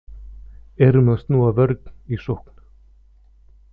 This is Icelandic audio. Erum að snúa vörn í sókn